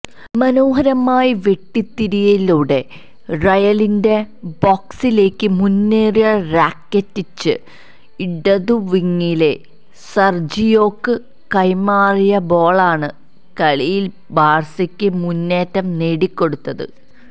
മനോഹരമായി വെട്ടിത്തിരിയലിലൂടെ റയലിന്റെ ബോക്സിലേക്ക് മുന്നേറിയ റാക്കിറ്റിച്ച് ഇടതുവിങിലെ സര്ജിയോക്ക് കൈമാറിയ ബോളാണ് കളിയില് ബാഴ്സക്ക് മുന്നേറ്റം നേടിക്കൊടുത്തത്